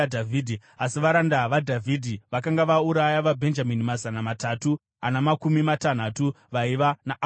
Asi varanda vaDhavhidhi vakanga vauraya vaBhenjamini mazana matatu ana makumi matanhatu vaiva naAbhuneri.